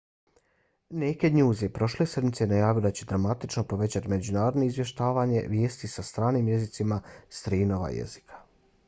naked news je prošle sedmice najavio da će dramatično povećati međunarodno izvještavanje vijesti na stranim jezicima s tri nova jezika